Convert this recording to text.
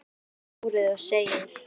Strýkur honum um hárið og segir: